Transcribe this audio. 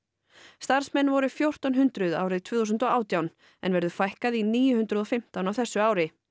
starfsmenn voru fjórtán hundruð árið tvö þúsund og átján en verður fækkað í níu hundruð og fimmtán á þessu ári